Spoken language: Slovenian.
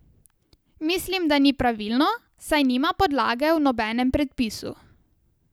Mislim, da ni pravilno, saj nima podlage v nobenem predpisu.